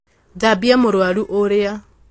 thambia mũrwaru ũũrĩa